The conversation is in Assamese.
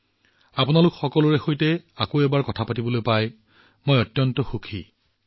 আপোনালোক সকলোৰে সৈতে আকৌ এবাৰ বাৰ্তালাপ কৰি মই অত্যাধিক আনন্দিত হৈছো